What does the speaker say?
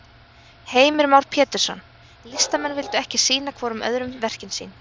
Heimir Már Pétursson: Listamenn vildu ekki sýna hvorum öðrum verkin sín?